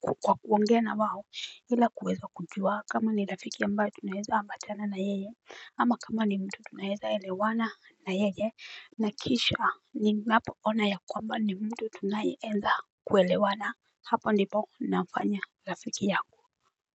kwa kuongea na wao ila kuweza kujua kama ni rafiki ambaye tunaeza ambatana na yeye. Ama kama ni mtu tunaeza elewana na yeye. Na kisha ninapo ona ya kwamba ni mtu tunaeza kuelewana hapa ndipo nafanya rafiki yao.